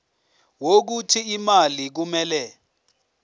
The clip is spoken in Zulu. wokuthi imali kumele